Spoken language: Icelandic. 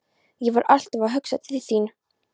Ég var alltaf að hugsa til þín.